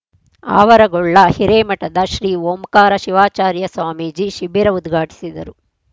ಆವರಗೊಳ್ಳ ಹಿರೇಮಠದ ಶ್ರೀ ಓಂಕಾರ ಶಿವಾಚಾರ್ಯ ಸ್ವಾಮೀಜಿ ಶಿಬಿರ ಉದ್ಘಾಟಿಸಿದರು